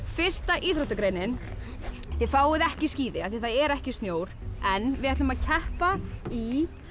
fyrsta íþróttagreinin þið fáið ekki skíði af því það er ekki snjór en við ætlum að keppa í